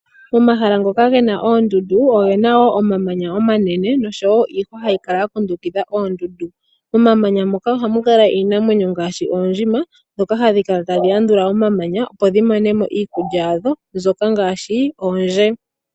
Omahala ngoka gena oondundu ogena woo omamanya omanene nosho woo iihwa ha yikala ya kundukidha oondundu, omamanya moka ohamukala iinamwenyo ngaashi oondjima ndhoka ha dhikala ta dhi landula omamanya opo dhi monemo iikulya yashk mbyoka ngaashi oondje.